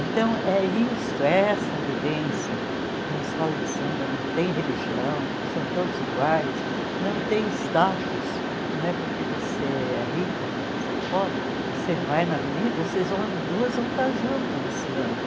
Então é isso, é essa vivência, que escola de samba não tem religião, são todos iguais, não tem status, não é porque você é rica que você é pobre, você vai na avenida, vocês duas vão estar junto desfilando.